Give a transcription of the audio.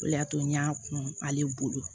O de y'a to n y'a kun ale bolo